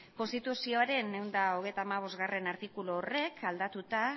konstituzioaren ehun eta hogeita hamabostgarrena horrek aldatuta